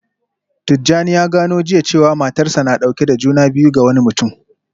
Tijjani ya gano jiya cewa matarsa ​​na dauke da juna biyu ga wani mutum